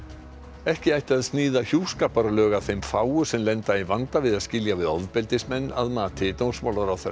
ekki ætti að sníða hjúskaparlög að þeim fáu sem lenda í vanda við að skilja við ofbeldismenn að mati dómsmálaráðherra